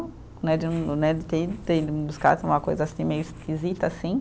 Né de um, né de ter ido, ter ido me buscar, foi uma coisa assim, meio esquisita assim.